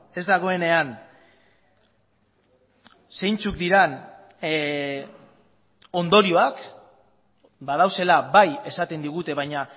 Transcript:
ez dagoenean zeintzuk diren ondorioak badaudela bai esaten digute baina